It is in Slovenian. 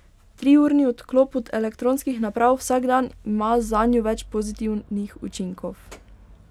Triurni odklop od elektronskih naprav vsak dan ima zanjo več pozitivnih učinkov.